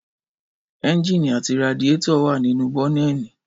Ẹ́ńjìnì àti radiétọ̀ wà nínú bọ́nẹ́ẹ̀nì